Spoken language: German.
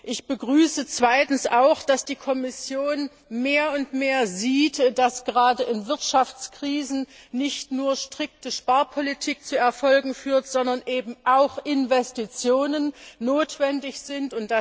Ich begrüße zweitens auch, dass die Kommission mehr und mehr sieht, dass gerade in Wirtschaftskrisen nicht nur strikte Sparpolitik zu Erfolgen führt, sondern eben auch Investitionen notwendig sind.